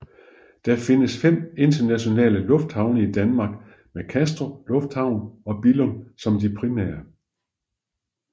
Der findes fem internationale lufthavne i Danmark med Kastrup Lufthavn og Billund som de primære